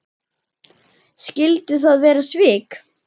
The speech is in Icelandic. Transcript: Skyldu það vera svik?